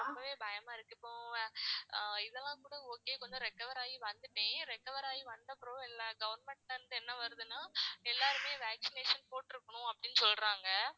எனக்கு ரொம்ப பயமா இருக்கு. இப்போ இதெல்லாம் கூட okay. கொஞ்சம் recover ஆகி வந்துட்டேன். recover ஆகி வந்தப்புறம் என்ன government லேந்து என்ன வருதுன்னா எல்லாருமே vaccination போட்டுருக்கணும் அப்படின்னு சொல்றாங்க.